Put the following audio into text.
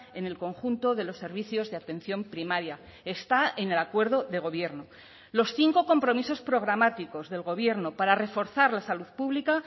en el conjunto de los servicios de atención primaria está en el acuerdo de gobierno los cinco compromisos programáticos del gobierno para reforzar la salud pública